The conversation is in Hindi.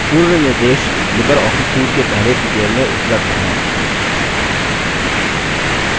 पूर्ण निर्देश लिबर ऑफिस suite के पहले tutorial में उपलब्ध हैं